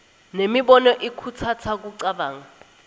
nemibono ikhutsata kucabanga